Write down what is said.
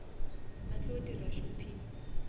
a tlo dira shopping